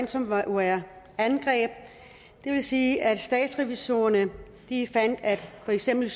til ransomware angreb det vil sige at statsrevisorerne fandt at for eksempel